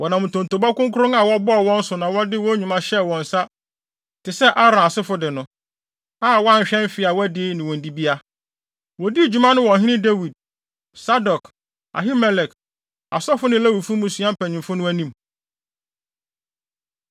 Wɔnam ntonto kronkron a wɔbɔɔ wɔ wɔn so na wɔde wɔn nnwuma hyɛɛ wɔn nsa te sɛ Aaron asefo de no, a wɔanhwɛ mfe a wɔadi ne wɔn dibea. Wodii dwuma no wɔ ɔhene Dawid, Sadok, Ahimelek, asɔfo ne Lewifo mmusua mpanyimfo no anim.